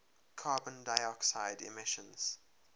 carbon dioxide emissions